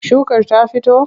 Shukar ta fito?